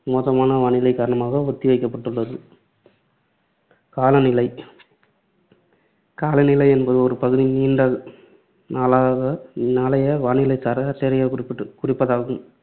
மோசமான வானிலையின் காரணமாக ஒத்தி வைக்கப்பட்டுள்ளது. காலநிலை காலநிலை என்பது ஒரு பகுதியின் நீண்ட நாளாக~ நாளைய வானிலை சராசரியைக் குறிப்பிட்டு குறிப்பதாகும்.